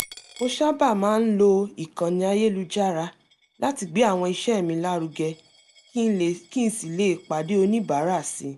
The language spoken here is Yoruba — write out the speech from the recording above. mo sábà máa ń lo ìkànnì ayélujára láti gbé àwọn iṣẹ́ mi lárugẹ kí n sì lè pàdé oníbàárà si